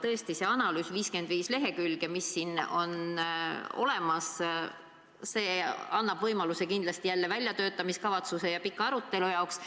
Tõesti, see 55-leheküljeline analüüs, mis on olemas, annab võimaluse jälle väljatöötamiskavatsuseks ja pikaks aruteluks.